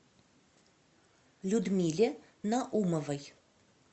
людмиле наумовой